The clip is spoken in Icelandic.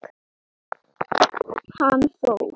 Þín nafna, Ásdís.